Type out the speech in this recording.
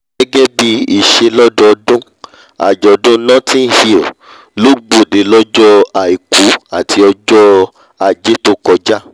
gẹ́gẹ́ bí ìṣẹ lọ́dọọdún àjọ̀dún notting hill ló gbọ̀de lọ́jọ́ àìkú àti ọjọ́ ajé tó kọjá